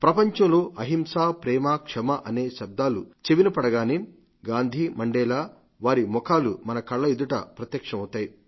ప్రపంచంలో అహింస ప్రేమ క్షమ అనే శబ్దాలు చెవినపడగానే గాంధీ మండేలా వారి ముఖాలు మన కళ్ల ఎదుట ప్రత్యక్షమవుతాయి